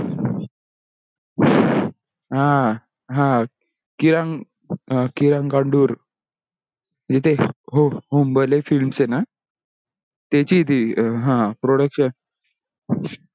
हा हा किरण हा किरण गादुर जिथे हुंबळे fields हे ना त्याची ही अं ह production